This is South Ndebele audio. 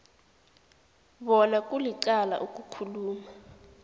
bona kulicala ukukhuluma